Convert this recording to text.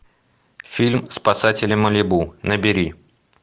фильм спасатели малибу набери